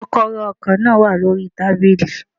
Kókóró ọkò náà wà lórí i tábìlì